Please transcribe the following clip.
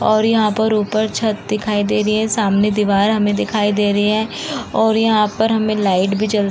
और यहाँ पे ऊपर छत दिखाई दे रही है। सामने दीवार हमे दिखाई दे रहे हैं और यहां पर हमे लाइट भी जल --